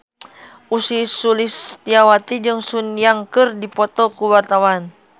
Ussy Sulistyawati jeung Sun Yang keur dipoto ku wartawan